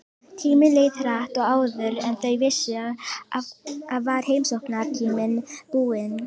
Tíminn leið hratt og áður en þau vissu af var heimsóknartíminn búinn.